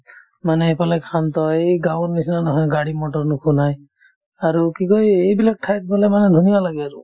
মানে এইফালে শান্ত এই গাঁওৰ নিচিনা নহয় গাড়ী-মটৰ নুশুনাই আৰু কি কই এইবিলাক ঠাইত গ'লে মানে ধুনীয়া লাগে আৰু